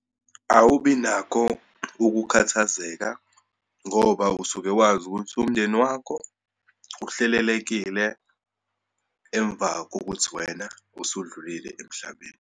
Awubi nakho ukukhathazeka ngoba usuke wazi ukuthi umndeni wakho uhlelelekile emva kokuthi wena usudlulile emhlabeni.